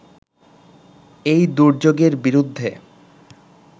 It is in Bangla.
এই দুর্যোগের বিরুদ্ধে